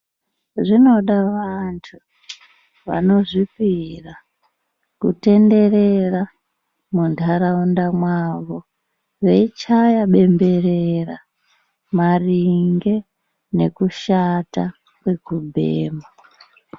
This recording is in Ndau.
Zvinoda vantu vanozvipira kutenderera mundharawunda mavo, veyichaya bemberera maringe nekushata kwekubhema.